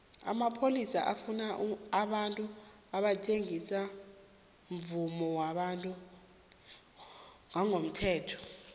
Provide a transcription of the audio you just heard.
amapholisa afuna abantu abathengisa umvumo wabantu ngongemthetho